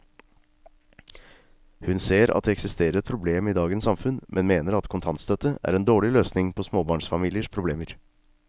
Hun ser at det eksisterer et problem i dagens samfunn, men mener at kontantstøtte er en dårlig løsning på småbarnsfamiliers problemer.